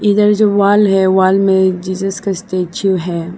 ए जो वॉल है वॉल में जीसस का स्टेचू है।